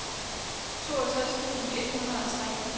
toogtres tusind et hundrede og tre